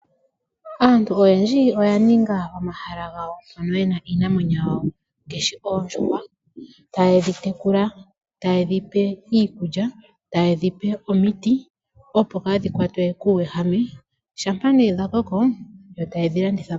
Aantu oyendji oya ninga omahala gawo pono e na iinamwenyo yayo ngaashi oondjuhwa taye dhitekula, taye dhipe iikulya, taye dhipe omiti opo kadhi kwatwe kuwehame shapa ne dha koko opo ne taye ke dhilanditha po.